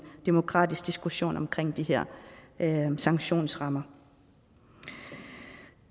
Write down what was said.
demokratisk diskussion omkring de her sanktionsrammer